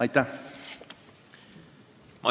Aitäh!